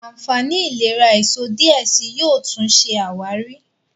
ànfàní ìlera èsó diẹ síi yóò tún ṣe àwárí.